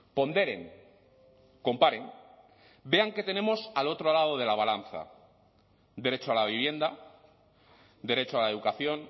ponderen comparen vean qué tenemos al otro lado de la balanza derecho a la vivienda derecho a la educación